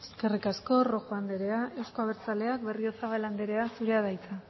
eskerrik asko rojo anderea euzko abertzaleak berriozabal andrea zurea da hitza